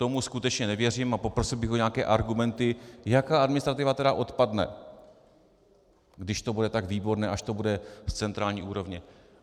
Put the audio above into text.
Tomu skutečně nevěřím a poprosil bych o nějaké argumenty, jaká administrativa tedy odpadne, když to bude tak výborné, až to bude z centrální úrovně.